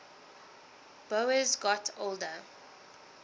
boas got older